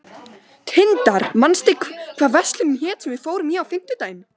Tindar, manstu hvað verslunin hét sem við fórum í á fimmtudaginn?